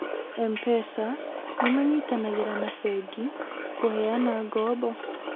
MPESA nĩ manyitanagĩra na bengi kũheana ngoombo